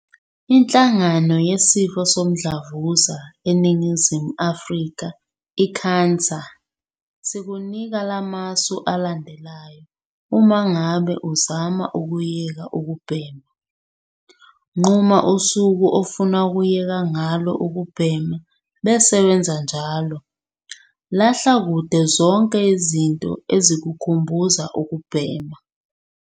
INhlangano Yesifo Somdlavuza eNingizimu Afrika, i-CANSA, sikunika lamasu alandelayo uma ngabe uzama ukuyeka ukubhema - Nquma usuku ofuna ukuyeka ngalo ukubhema bese wenza kanjalo. Lahla kude zonke izinto ezikukhumbuza ukubhema.